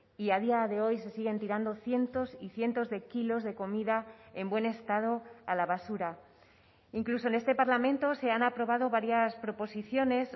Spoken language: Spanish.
y a día de hoy se siguen tirando cientos y cientos de kilos de comida en buen estado a la basura incluso en este parlamento se han aprobado varias proposiciones